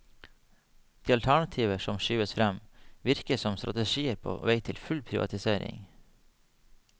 De alternativer som skyves frem, virker som strategier på vei til full privatisering.